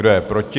Kdo je proti?